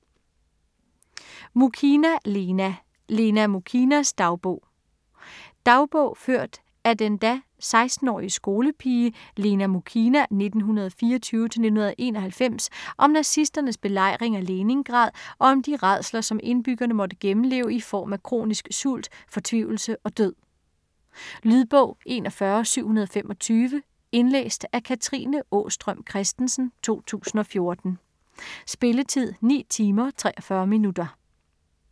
Muchina, Lena: Lena Mukhinas dagbog Dagbog ført af den da 16-årige skolepige Lena Muchina (1924-1991) om nazisternes belejring af Leningrad, og om de rædsler, som indbyggerne måtte gennemleve i form af kronisk sult, fortvivlelse og død. Lydbog 41725 Indlæst af Katrine Aastrøm Christensen, 2014. Spilletid: 9 timer, 43 minutter.